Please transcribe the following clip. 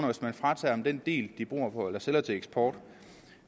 hvis man fratager den del den sælger til eksport